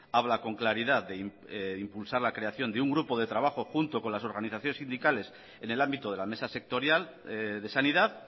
habla con claridad de impulsar la creación de un grupo de trabajo junto con las organizaciones sindicales en el ámbito de la mesa sectorial de sanidad